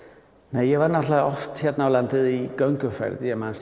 nei ég var náttúrulega oft hér á landi í gönguferðum ég man